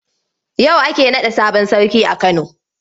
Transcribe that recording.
Yau ake naɗa sabon sarki a Kano.